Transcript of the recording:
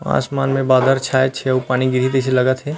आसमान में बादल छाए छे अउ पानी गिरही तइसे लगत हे।